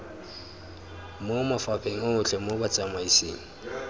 mo mafapheng otlhe mo botsamaisng